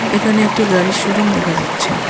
এখানে একটি গাড়ির শোরুম দেখা যাচ্ছে।